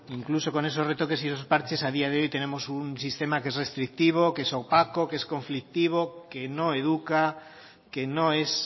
incluso con esos retoques y esos parches a día de hoy tenemos un sistema que es restrictivo que es opaco que es conflictivo que no educa que no es